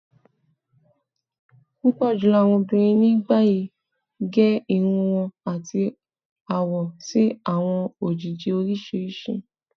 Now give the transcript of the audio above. Pupọ julọ awọn obinrin ni bayi ge irun wọn ati awọ si awọn ojiji oriṣiriṣi.